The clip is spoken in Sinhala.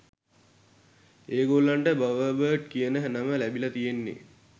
ඒගොල්ලන්ට "බවර්බර්ඩ්" කියන නම ලැබිල තියෙන්නෙ